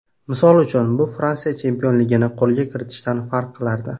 Misol uchun, bu Fransiya chempionligini qo‘lga kiritishdan farq qilardi.